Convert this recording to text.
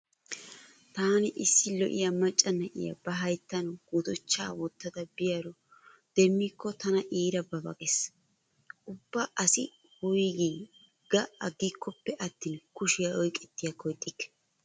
Taani issi lo'iya macca na'iya ba hayttan gutichchaa wottada biyaaro demmikko tana iira ba ba gees. Ubba asi woygii ga aggikkoppe attin kushiya oyqettiyakko ixxikke.